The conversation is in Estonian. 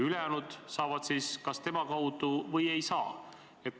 Ülejäänud saavad selle kas tema kaudu või ei saa üldse.